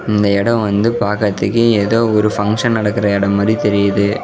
இந்த எட வந்து பாக்றத்க்கு ஏதோ ஒரு ஃபங்க்ஷன் நடக்ற எட மாரி தெரியுது.